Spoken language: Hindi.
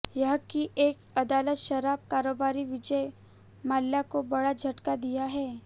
यहां की एक अदालत शराब कारोबारी विजय माल्या को बड़ा झटका दिया है